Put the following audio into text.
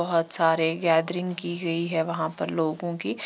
बहुत सारे गैदरिंग की गई है वहां पर लोगों की।